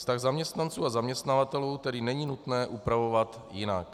Vztah zaměstnanců a zaměstnavatelů tedy není nutné upravovat jinak.